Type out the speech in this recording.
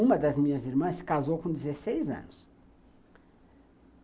Uma das minhas irmãs se casou com dezesseis anos.